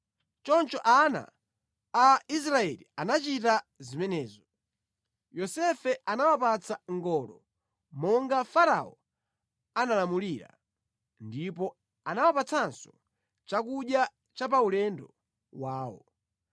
Choncho ana a Israeli anachita zimenezo. Yosefe anawapatsa ngolo monga Farao analamulira, ndipo anawapatsanso chakudya cha paulendo wawo.